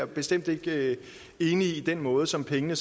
vi bestemt ikke enige i den måde som pengene